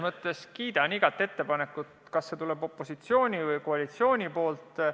Ma kiidan igat ettepanekut, tuleb siis opositsiooni või koalitsiooni poolt.